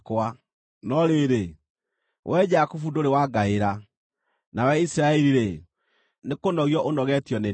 “No rĩrĩ, wee Jakubu ndũrĩ wangaĩra, nawe Isiraeli-rĩ, nĩkũnogio ũnogetio nĩ niĩ.